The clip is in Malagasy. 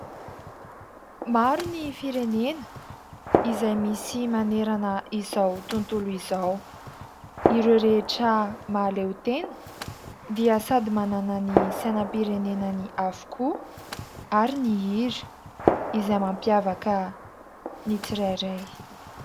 Maro ny firenena izay misy manerana izao tontolo izao. Ireo rehetra mahaleo tena dia sady manana ny sainam-pirenenany avokoa ary ny hira izay mampiavaka ny tsirairay.